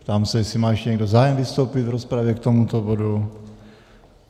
Ptám se, jestli má ještě někdo zájem vystoupit v rozpravě k tomuto bodu?